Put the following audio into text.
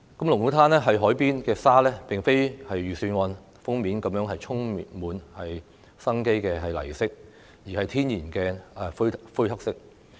龍鼓灘海邊的沙並不像預算案的封面般是充滿生機的泥色，而是天然的灰黑色。